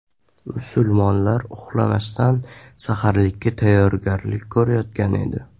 Musulmonlar uxlamasdan saharlikka tayyorgarlik ko‘rayotgan edi.